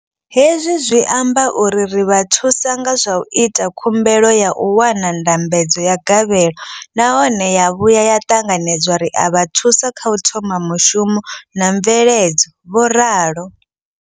Hezwi zwi amba uri ri vha thusa nga zwa u ita khumbelo ya u wana ndambedzo ya gavhelo nahone ya vhuya ya ṱanganedzwa, ri a vha thusa kha u thoma mushumo na mveledzo, vho ralo.